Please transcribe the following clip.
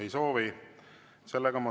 Ei soovi.